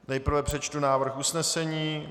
Nejprve přečtu návrh usnesení.